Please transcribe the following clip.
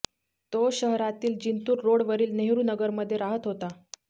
तो शहरातील जिंतूर रोडवरील नेहरू नगरमध्ये राहत होता